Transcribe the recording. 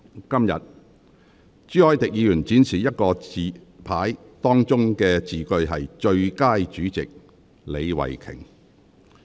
今天，朱凱廸議員展示另一個紙牌，當中的字句是"最佳主席李慧琼"。